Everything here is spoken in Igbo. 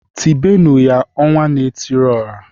Tibenu ya "Ọnwa na-etiri ọha"!